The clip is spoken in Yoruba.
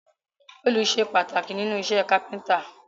Òòlù sé pàtàkì nínú isẹ́ carpenter